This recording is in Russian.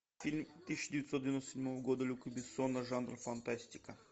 фильм тысяча девятьсот девяносто седьмого года люка бессона жанр фантастика